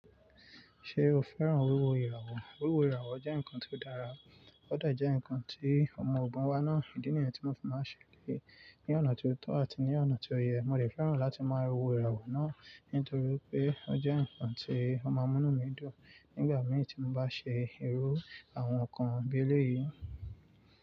Ṣé o fẹ́ràn wíwo ìràwọ̀? Wíwo ìràwọ̀ jẹ́ nǹkan tó dára, ó de je nǹkan tí ọmọ ọ̀bùn wa náà, ìdí nìyẹn tí mo fi máa ń ṣèké ní ọ̀nà tó tọ́ àti ní ọ̀nà tó yẹ. Mo de fẹ́ràn láti máa wo ìràwọ̀ náà nítorí pé ó jẹ́ nǹkan tí ó máa ń mú mí dùn nígbà mìí tí mo bá ṣe irú àwọn nǹkan bí eléyìí.